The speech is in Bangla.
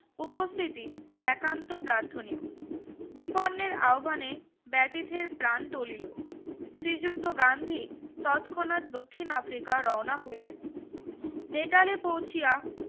উপস্থিতি একাতো প্রাথনিও বিপন্নের আহ্বানে বেথিতের প্রান তলিলো শ্রীযুক্ত গান্ধী ততক্ষনাত দক্ষিন আফ্রিকার রওনা হইলেন নেতালে পৌছিয়া